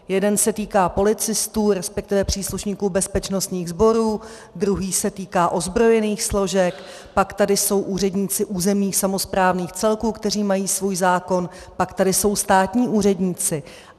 Jeden se týká policistů, respektive příslušníků bezpečnostních sborů, druhý se týká ozbrojených složek, pak tady jsou úředníci územních samosprávných celků, kteří mají svůj zákon, pak tady jsou státní úředníci.